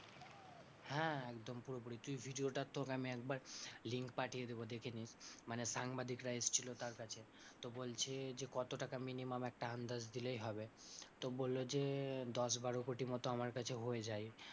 হ্যাঁ একদম পুরোপুরি তুই video টা তোকে আমি একবার link পাঠিয়ে দেবো দেখে নিস, মানে সাংবাদিকরা এসেছিল তার কাছে তো বলছে কত টাকা minimum একটা আন্দাজ দিলেই হবে। তো বললো যে দশ বারো কোটি মতো আমার কাছে হয়ে যায়,